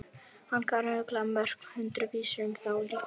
Hann kann örugglega mörg hundruð vísur um þá líka.